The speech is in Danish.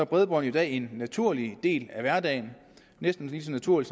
bredbånd i dag en naturlig del af hverdagen en næsten lige så naturlig